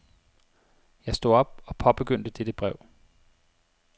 Jeg stod op og påbegyndte dette brev.